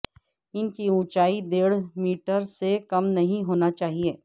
ان کی اونچائی ڈیڑھ میٹر سے کم نہیں ہونا چاہئے